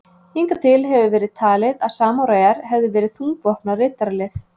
Hingað til hefur verið talið að samúræjar hefðu verið þungvopnað riddaralið.